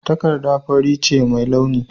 Takarda fari ce mai launi.